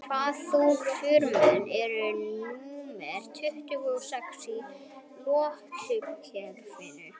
Hvaða þunga frumefni er númer tuttugu og sex í lotukerfinu?